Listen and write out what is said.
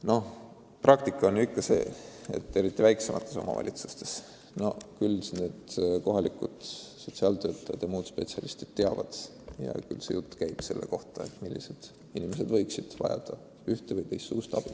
Noh, praktikas on ju nii, et eriti väiksemates omavalitsustes kohalikud sotsiaaltöötajad ja muud inimesed teavad, kes võiks vajada ühe- või teistsugust abi.